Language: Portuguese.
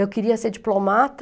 Eu queria ser diplomata.